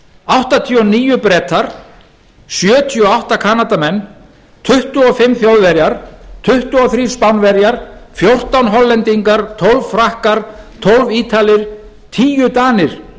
áttatíu og níu bretar sjötíu og átta kanadamenn tuttugu og fimm þjóðverjar tuttugu og þrjú spánverjar fjórtán hollendingar tólf frakkar tólf ítalir tíu danir